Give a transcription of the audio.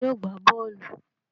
Ta ni yóò gbá bọ́ọ́lù?